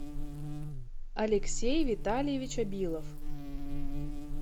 алексей витальевич абилов